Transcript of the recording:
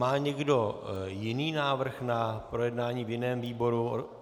Má někdo jiný návrh na projednání v jiném výboru?